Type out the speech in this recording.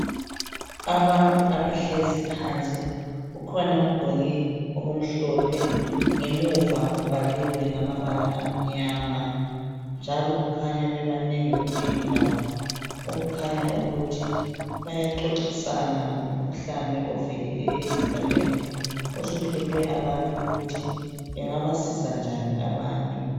Abantu abahlezi phansi. Ukhona ogqoke okumhlophe. Ngemuva kubhaliwe ngamabala amnyama. Njalo kukhanya bebanengi kule indawo. Okukhanya ukuthi bayaxoxisana ngomkhuhlane ovelileyo esigabeni. Osuhluphe abantu. Ukuthi bangaba siza njani abantu?